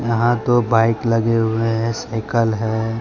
यहाँ दो बाइक लगे हुए हैं साइकल है।